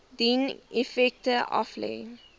dien effekte aflê